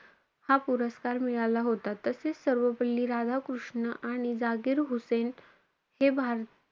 हा पुरस्कार मिळला होता. तसेचं सर्वपल्ली राधाकृष्ण आणि झाकीर हुसेन हे भार,